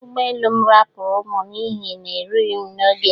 Ụgbọ elu m rapuru mu n'ihi na-erughị m n'oge.